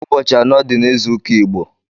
Ụbọchi anọ di n’ịzụụka Igbo